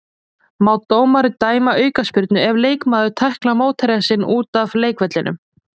Má dómari dæma aukaspyrnu ef leikmaður tæklar mótherja sinn út af leikvellinum?